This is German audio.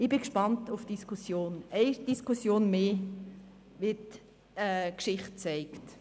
Ich bin auf die Diskussion gespannt – eine Diskussion mehr, wie die Geschichte zeigt.